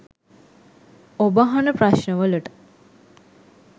ඔබ අහන ප්‍රශ්නවලට